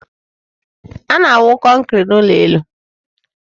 A na-awụ kọnkri n'ụlọ elu.